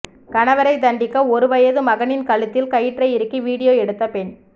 கணவரை தண்டிக்க ஒரு வயது மகனின் கழுத்தில் கயிற்றை இறுக்கி வீடியோ எடுத்த பெண்